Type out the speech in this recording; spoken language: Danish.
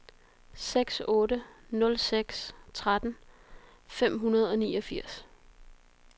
seks otte nul seks tretten fem hundrede og niogfirs